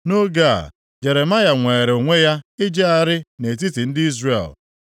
Nʼoge a, Jeremaya nweere onwe ya ijegharị nʼetiti ndị Izrel, nʼihi na ha etinyebeghị ya nʼụlọ mkpọrọ.